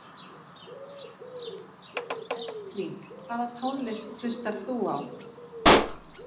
Elling Hvaða tónlist hlustar þú á?